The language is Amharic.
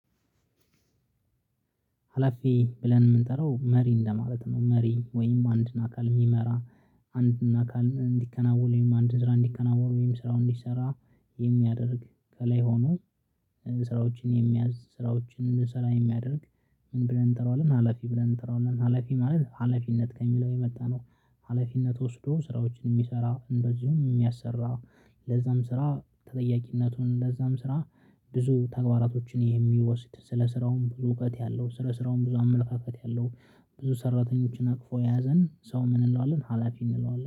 ሀላፊ ብለን የምንጠራው መሪ እንደማለት ነው መሪ ወይም አንድን አካል የሚመራ። አንድን አካል እንዲከናወን ወይም አንድን ስራ እንዲከናወን ወይም ስራውን እንዲሰራ የሚያደርግ ከላይ ሆኖ። ስራዎችን የሚያዝ ስራዎችን ልሰራ የሚያደርግ ምን ብለን እንጠራዋለን ሀላፊ ብለን እንጠራዋለን? ሀላፊ ማለት ሀላፊነት ከሚለው የመጣነው ሀላፊነት ወስዶ ስራዎችን የሚሰራ እንደዚሁም የሚያሰራ። ለዛም ስራ ተጠያቂነቱን ለዛም ስራ። ብዙ ተግባራቶችን የሚወስድ ስለ ስራውም ብዙ እውቀት ያለው ስለ ስራውም ብዙ አመለካከት ያለው ብዙ ሰራተኞችን አቅፎ ያዘን ሰው ምን እንለዋለን ሀላፊ እንለዋለን